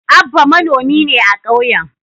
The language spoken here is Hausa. Abba manomi ne a kauyen.